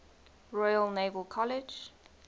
royal naval college